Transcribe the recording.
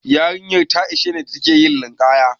Yarinyan ta nitse da take yin linƙaya.